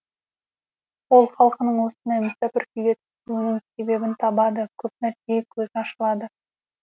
ол халқының осындай мүсәпір күйге түсуінің себебін табады көп нәрсеге көзі ашылады